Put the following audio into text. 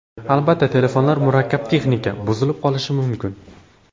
Albatta, telefonlar murakkab texnika, buzilib qolishi mumkin.